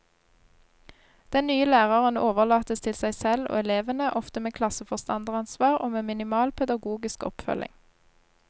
Den nye læreren overlates til seg selv og elevene, ofte med klasseforstanderansvar og med minimal pedagogisk oppfølging.